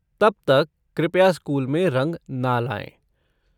तब तक कृपया स्कूल में रंग ना लाएँ।